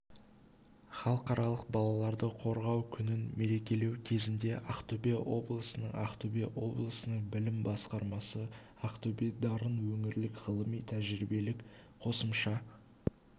халықаралық балаларды қорғау күнін мерекелеу кезінде ақтөбе облысының ақтөбе облысының білім басқармасы ақтөбе-дарын өңірлік ғылыми-тәжірибелік қосымша